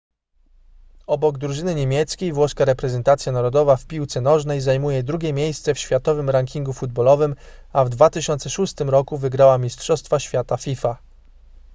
obok drużyny niemieckiej włoska reprezentacja narodowa w piłce nożnej zajmuje drugie miejsce w światowym rankingu futbolowym a w 2006 roku wygrała mistrzostwa świata fifa